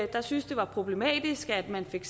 der syntes det var problematisk at man fik